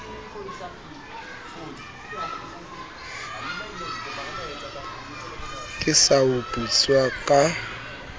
ke sa o putsa ka